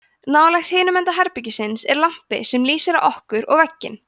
nálægt hinum enda herbergisins er lampi sem lýsir á okkur og vegginn